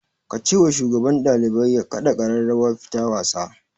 Ka ce wa shugaban ɗalibai ya kaɗa ƙararrawar fita wasa